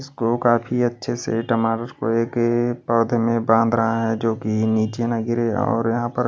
इसको काफी अच्छे से टमाटर को एक पौधे में बांध रहा है जो कि नीचे ना गिरें और यहां पर--